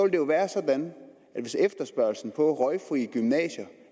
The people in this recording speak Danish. det jo være sådan at hvis efterspørgslen på røgfrie gymnasier